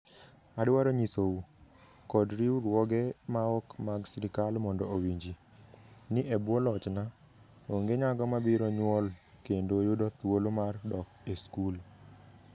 Adwaro nyisou, kod riwruoge maok mag sirkal mondo owinji, ni e bwo lochna, onge nyako mabiro nyuol kendo yudo thuolo mar dok e skul.